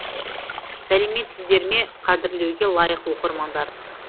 сәлеметсіздер ме қадірлеуге лайық оқырмандар